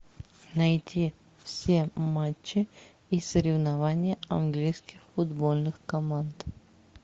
найти все матчи и соревнования английских футбольных команд